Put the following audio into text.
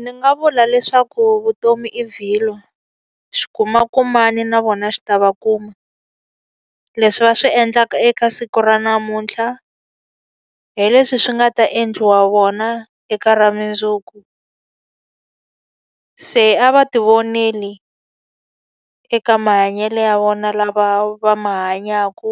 Ndzi nga vula leswaku vutomi i vhilwa, xi kuma ku mani na vona xi ta va kuma. Leswi va swi endlaka eka siku ra namuntlha, hi leswi swi nga ta endliwa vona eka ra mundzuku. Se a va ti vonele eka mahanyelo ya vona lama va ma hanyaka.